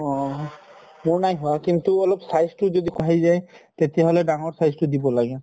অহ। মোৰ নাই হোৱা কিন্তু অলপ size টো যদি বাঢ়ি যায়, তেতিয়া হলে ডাঙৰ size টো দিব লাগে।